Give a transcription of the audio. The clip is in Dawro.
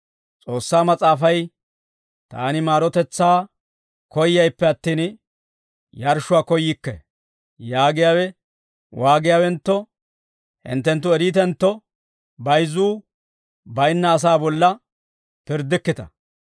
S'oossaa Mas'aafay, ‹Taani maarotetsaa koyyayippe attin, yarshshuwaa koyyikke› yaagiyaawe waagiyaawentto hinttenttu eriitentto, bayizzuu baynna asaa bolla pirddikkita.